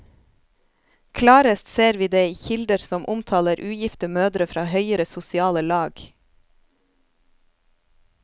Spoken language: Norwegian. Klarest ser vi det i kilder som omtaler ugifte mødre fra høyere sosiale lag.